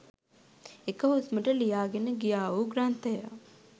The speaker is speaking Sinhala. එක හුස්මට ලියා ගෙන ගියා වූ ග්‍රන්ථ ය